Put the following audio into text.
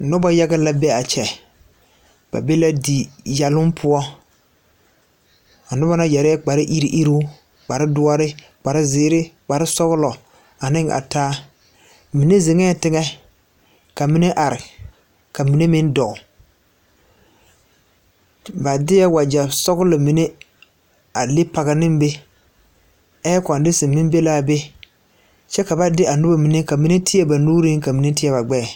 Nobɔ yaga la be a kyɛ ba be la diyɛloŋ poɔ a nobɔ na yɛrɛɛ kpare iruŋiruŋ kpare doɔre kpare zeere kpare sɔglɔ aneŋ a taa mine zeŋɛɛ teŋɛ ka mine are ka mine meŋ dɔɔ ba deɛɛ wagyɛ sɔglɔ mine a le pɔge neŋ be ɛɛ kondisine meŋ belaa be kyɛ ka ba de a nobɔ mine ka mine teɛ ba nuuree ka mine teɛ ba gbɛɛ.